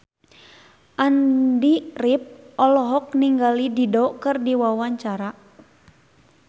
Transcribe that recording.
Andy rif olohok ningali Dido keur diwawancara